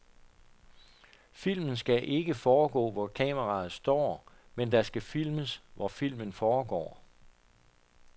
Filmen skal ikke foregå hvor kameraet står, men der skal filmes hvor filmen foregår.